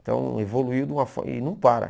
Então evoluiu de uma forma, e não para.